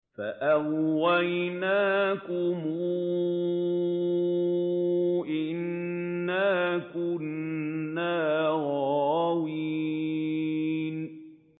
فَأَغْوَيْنَاكُمْ إِنَّا كُنَّا غَاوِينَ